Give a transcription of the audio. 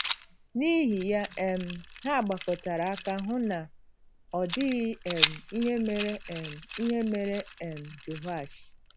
N’ihi ya um, ha gbakọtara aka hụ na ọ dịghị um ihe mere um ihe mere um Jehoash.